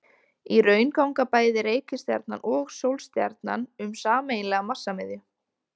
Í raun ganga bæði reikistjarnan og sólstjarnan um sameiginlega massamiðju.